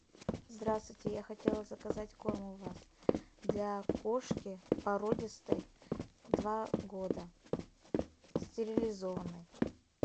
здравствуйте я хотела заказать корм у вас для кошки породистой два года стерилизованной